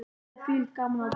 Það er þvílíkt gaman af því.